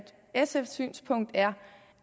sfs synspunkt er